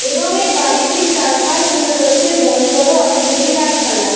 এবং এই বাড়িটির চার পাশ জুড়ে রয়েছে বড়ো বড়ো অনেগুলি গাছ পালা ।